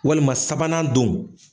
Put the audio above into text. Walima sabanan don.